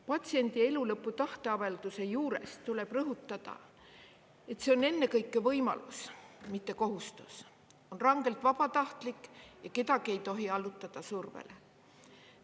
Patsiendi elulõpu tahteavalduse juures tuleb rõhutada, et see on ennekõike võimalus, mitte kohustus, on rangelt vabatahtlik ja kedagi ei tohi allutada survele.